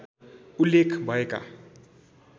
उल्लेख भएका